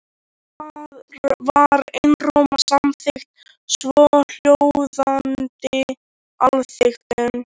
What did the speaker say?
Þar var einróma samþykkt svohljóðandi ályktun